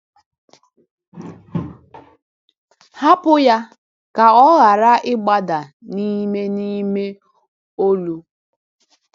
Hapụ Ya Ka Ọ Ghara Ịgbada n'ime n'ime Olu!